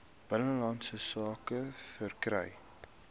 binnelandse sake verkry